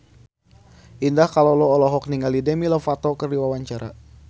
Indah Kalalo olohok ningali Demi Lovato keur diwawancara